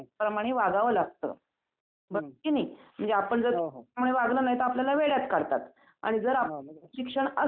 अच्छा तर यात्रेमध्ये तुम्ही गेल्यांनतर तिथे काय काय करू शकता? म्हणजे आपण गेल्यानंतर यात्रेला